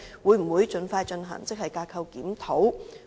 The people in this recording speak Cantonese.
會否盡快進行職系架構檢討？